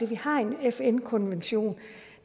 vi har en fn konvention